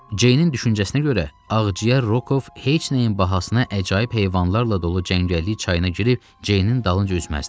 Ceynin düşüncəsinə görə ağciyər Rokov heç nəyin bahasına əcaib heyvanlarla dolu cəngəllik çayına girib Ceynin dalınca üzməzdi.